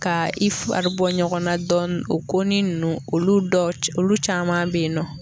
Ka i fari bɔ ɲɔgɔnna dɔɔni o ko ninnu olu dɔ olu caman bɛ yen nɔ.